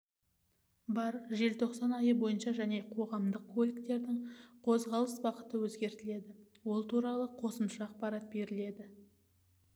бар желтоқсан айы бойынша және қоғамдық көліктерінің қозғалыс бағыты өзгертіледі ол туралы қосымша ақпарат беріледі